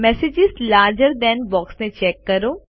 messages larger than બોક્સને check કરો